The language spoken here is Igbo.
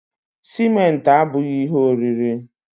Sịmentị abughị ihe oriri